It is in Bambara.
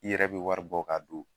I yɛrɛ be wari bɔ k'a don